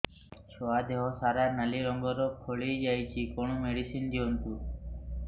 ଛୁଆ ଦେହ ସାରା ନାଲି ରଙ୍ଗର ଫଳି ଯାଇଛି କଣ ମେଡିସିନ ଦିଅନ୍ତୁ